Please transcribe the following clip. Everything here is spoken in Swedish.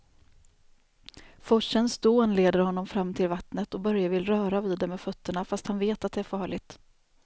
Forsens dån leder honom fram till vattnet och Börje vill röra vid det med fötterna, fast han vet att det är farligt.